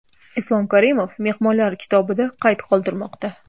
Islom Karimov mehmonlar kitobida qayd qoldirmoqda.